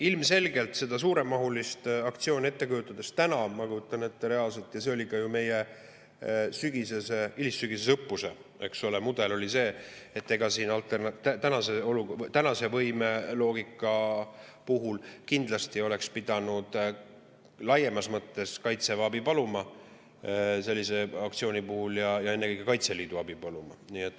Ilmselgelt, kui ma seda suuremahulist aktsiooni reaalselt ette kujutan – ja see oli ka meie hilissügisese õppuse mudel, eks ole –, siis tänase loogika kohaselt kindlasti oleks pidanud sellise aktsiooni puhul laiemas mõttes Kaitseväe ja ennekõike Kaitseliidu abi paluma.